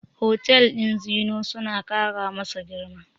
Hotel ɗin Zeennoor suna ƙara masa girma.